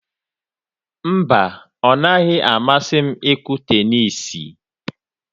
Mba, o naghị amasị m ịkụ tenisii